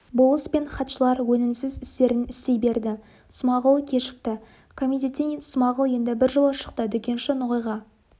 болыс пен хатшылар өнімсіз істерін істей берді смағұл кешікті комитеттен смағұл енді біржола шықты дүкенші ноғайға